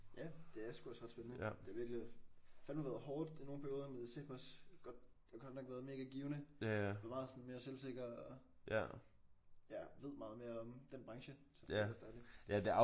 Ja det er sgu også ret spændende. Det er virkelig fandeme været hårdt i nogle perioder men det har sateme også godt har godt nok været mega givende er blevet meget mere sådan selvsikker og ja ved meget mere om den branche. Så det er også dejligt